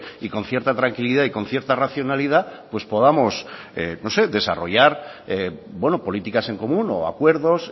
y con cierta tranquilidad y con cierta racionalidad pues podamos no sé desarrollar políticas en común o acuerdos